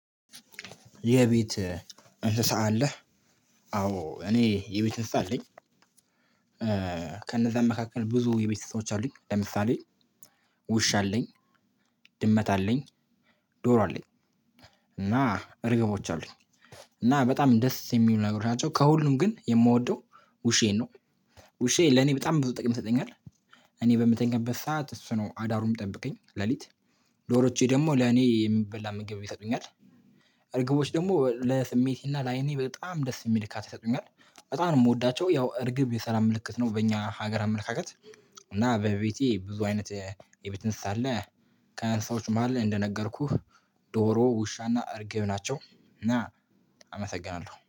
የቤት እንስሳ አለህ? አዎ እኔ የቤት እንስሳ አለኝ። ከነዛም መካከል ብዙ የቤት እንስሶች አሉኝ። ለምሳሌ ውሻ አለኝ። ድመት አለኝ። ዶሮ አለኝ። እና እርግቦች አሉኝ። እና በጣም ደስ የሚሉ ነገሮች ናቸው። ከሁሉም ግን የምወደው ውሻዬን ነው። ውሻዬ ለኔ በጣም ብዙ ጥቅም ይሰጠኛል። እኔ በምተኛበት ሰዓት እሱ ነው አዳሩን የምጠብቀኝ ለሊት። ዶሮዎቼ ደግሞ ለኔ የምበላ ምግብ ይሰጡኛል። እርግቦች ደግሞ ለስሜቴና ለአይኔ በጣም ደስ የሚል እርካታ ይሰጡኛል። በጣም ነው የምወዳቸው ያው እርግብ የሰላም ምልክት ነው። በእኛ ሀገር አመለካከት እና በቤቴ ብዙ አይነት የቤት እንስሳ አለ። ከእንስሶች መሃል እንደነገርኩህ ዶሮ ውሻ እና እርግብ ናቸው። እና አመሰግናለሁ